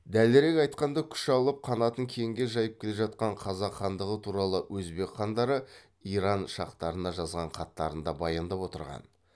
дәлірек айтқанда күш алып қанатын кеңге жайып келе жатқан қазақ хандығы туралы өзбек хандары иран шахтарына жазған хаттарында баяндап отырған